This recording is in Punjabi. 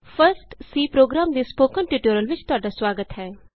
ਫਸਟ C ਪ੍ਰੋਗਰਾਮ ਦੇ ਸਪੋਕਨ ਟਯੂਟੋਰਿਅਲ ਵਿਚ ਤੁਹਾਡਾ ਸੁਆਗਤ ਹੈ